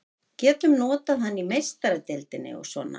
Getum notað hann í Meistaradeildinni og svona.